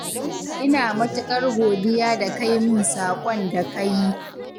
Ina matuƙar godiya da kai min saƙon da ka yi.